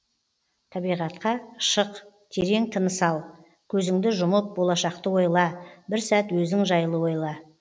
табиғатқа шық терең тыныс ал көзіңді жұмып болашақты ойла бір сәт өзің жайлы ойла